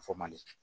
Fɔ man di